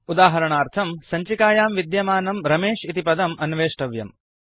उदाहरणार्थम् सञ्चिकायां विद्यमानं रमेश इति पदम् अन्वेष्टव्यम्